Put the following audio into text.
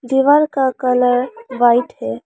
दीवाल का colour white है।